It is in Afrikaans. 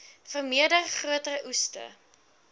vermeerder groter oeste